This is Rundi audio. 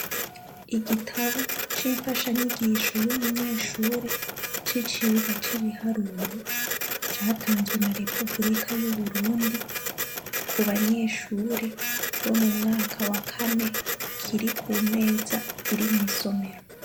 Igitabu c'imfasha nyigisho y'umunyeshure c'icirwa c'ibiharuro, catanzwe na Repuburika y'Uburundi kubanyeshure bo mumwaka wakane kiri kumeza iri mw'isomero